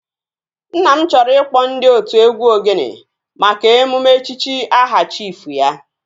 Nna m chọrọ ịkpọ ndị otụ egwu ogene maka emume echichi aha chiifu ya